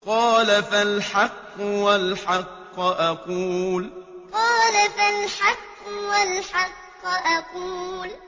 قَالَ فَالْحَقُّ وَالْحَقَّ أَقُولُ قَالَ فَالْحَقُّ وَالْحَقَّ أَقُولُ